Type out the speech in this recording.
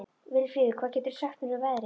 Vilfríður, hvað geturðu sagt mér um veðrið?